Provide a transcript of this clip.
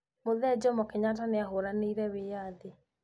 Mũthee Jomo Kenyata nĩahũranĩire wĩĩyathi